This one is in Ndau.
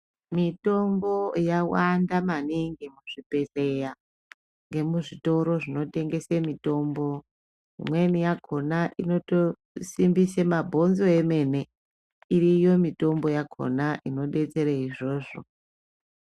Mitombo yawanda maningi muzvibhedhleya ngemuzvitoro zvinotengese mitombo Imweni yakhona inotosimbise mabhonzo emene iriyo mitombo yakhona inodetsere izvozvo.